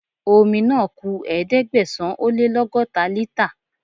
Omi náà ku Ẹ̀ẹ́dẹ̀gbẹ̀sán-ó-lé-lọ́gọ́ta lítà.